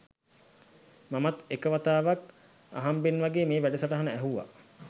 මමත් එක වතාවක් අහම්බෙන් වගේ මේ වැඩසටහන ඇහුවා